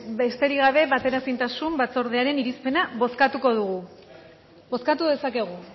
besterik gabe bateraezintasun batzordearen irizpena bozkatuko dugu bozkatu dezakegu